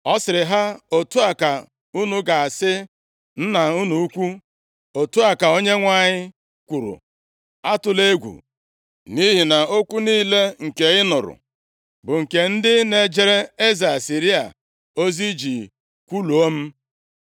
ọ sịrị ha, “Otu a ka unu ga-asị nna unu ukwu, ‘Otu a ka Onyenwe anyị kwuru, Atụla egwu nʼihi okwu niile nke ị nụrụ, bụ nke ndị na-ejere eze Asịrịa ozi ji kwuluo m.